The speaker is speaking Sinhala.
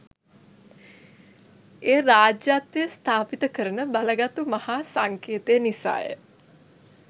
එය රාජ්‍යත්වය ස්ථාපිත කරන බලගතු මහා සංකේතය නිසා ය.